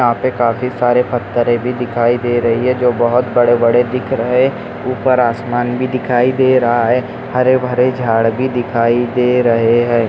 यहापे काफी सारे पत्थरेभी दिखाई दे रही है जो बहुत बड़े बड़े दिख रहे उपर आसमान भी दिखाई दे रहा है हरे भरे झाड भी दिखाई दे रहे है।